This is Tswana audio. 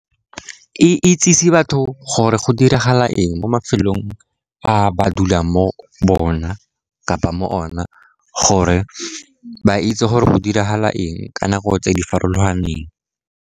E itsise batho gore go diragala eng mo mafelong a ba dulang mo ona kapa mo ona gore ba itse gore go diragala eng ka nako tse di farologaneng.